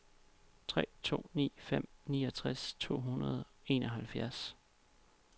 tre to ni fem niogtres to hundrede og enoghalvfjerds